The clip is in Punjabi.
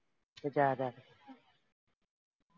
ਤੂੰ ਜਾਇਆ ਕਰ